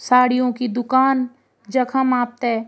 साड़ियों की दूकान जखम आपथे ।